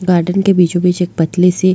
garden के बीचो बिच एक पतली सी --